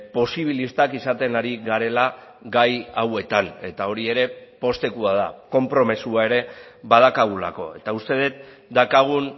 posibilistak izaten ari garela gai hauetan eta hori ere poztekoa da konpromisoa ere badaukagulako eta uste dut daukagun